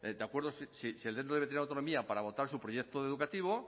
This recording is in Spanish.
de acuerdo si el centro debe de tener autonomía para votar su proyecto educativo